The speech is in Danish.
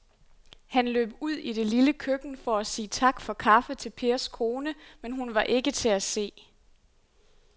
Han løb ud i det lille køkken for at sige tak for kaffe til Pers kone, men hun var ikke til at se.